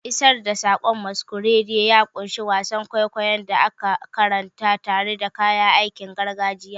Isar da saƙon masquerade ya ƙunshi wasan kwaikwayon da aka karanta tare da kayan aikin gargajiya.